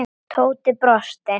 Tóti brosti.